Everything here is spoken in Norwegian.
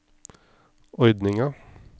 ordninga